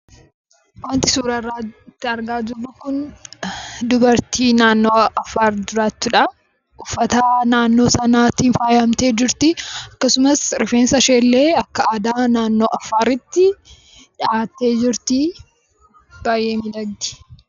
Wanti suurarratti argaa jirru kun dubartii naannoo Affaar jiraattudha. Uffata naannoo sanaatiin faayyamtee jirti. Akkasumas rifeensashiillee akka aadaa naannoo afaaritti dhahattee jirti. Baayyee miidhagdi.